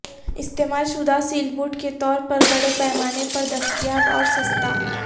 استعمال شدہ سیلبوٹ کے طور پر بڑے پیمانے پر دستیاب اور سستا